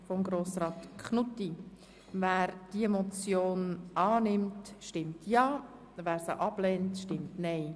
Wer die Motion annimmt, stimmt Ja, wer diese ablehnt, stimmt Nein.